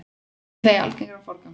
Setjið það í algeran forgang.